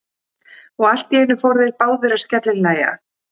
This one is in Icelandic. Og allt í einu fóru þeir báðir að skellihlæja.